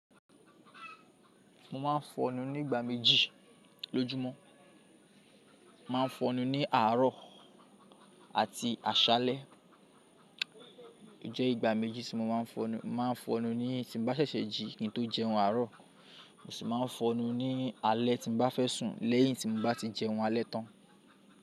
Mo ma n fọ'nú nígbà méjì lójúmọ́. Ma n fọnú ní àárọ̀ àti àṣálẹ́. Ó jẹ́ ìgbà méjì tí mo ma n fọnú. Mo ma n fọnú ní tí n bá ṣẹ̀ṣẹ̀ jí kí n tó jẹun àárọ̀, mo sì má n fọnú ní alẹ́ tí n bá fẹ́ sùn lẹ́yìn tí n bá ti jẹun alẹ́ tán.